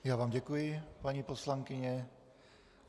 Já vám děkuji, paní poslankyně.